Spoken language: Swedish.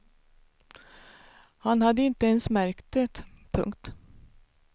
Han hade inte ens märkt det. punkt